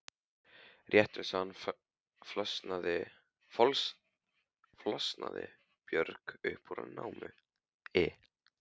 Rétt eins og hann flosnaði Björg upp úr námi.